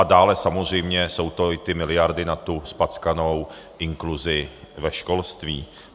A dále samozřejmě jsou to i ty miliardy na tu zpackanou inkluzi ve školství.